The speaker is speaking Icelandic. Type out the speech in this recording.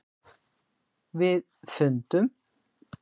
. við fundum.